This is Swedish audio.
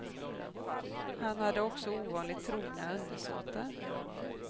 Han hade också ovanligt trogna undersåtar.